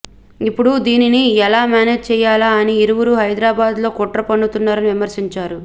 ఇప్పుడు దీనిని ఎలా మేనేజ్ చేయాలా అని ఇరువురూ హైదరాబాద్లో కుట్ర పన్నుతున్నారని విమర్శించారు